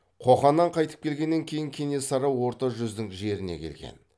қоқаннан қайтып келгеннен кейін кенесары орта жүздің жеріне келген